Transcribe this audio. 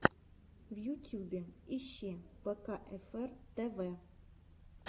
в ютюбе ищи пэкаэфэр тэвэ